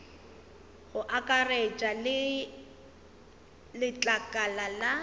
go akaretša le letlakala la